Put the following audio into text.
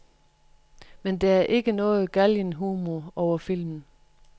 Men der er ikke noget galgenhumor over filmen.